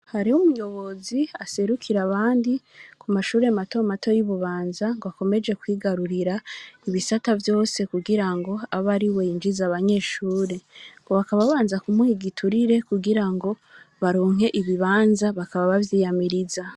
Hariho umuyozi aserukira abandi ku mashuri mato mato yi Bubanza ngwa komeje kwigarurira ibisata vyose kugirango abe ariwe yinjiza abanyeshuri ngo bakaba babanza ku muha igiturire kugirango baronke ibibanza bakaba bavyiyamiriza.